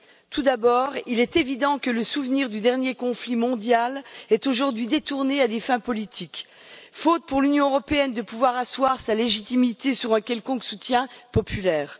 Tout d'abord, il est évident que le souvenir du dernier conflit mondial est aujourd'hui détourné à des fins politiques, faute pour l'Union européenne de pouvoir asseoir sa légitimité sur un quelconque soutien populaire.